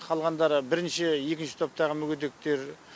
қалғандары бірінші екінші топтағы мүгедектер